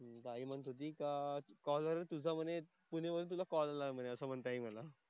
आई म्हणत होती का कॉल वरून तुझा म्हणे तिने म्हणून तुला कॉल लावला नाही असं म्हणते आई मला.